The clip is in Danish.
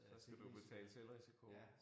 Så skal du betale selvrisiko